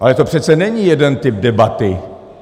Ale to přece není jeden typ debaty.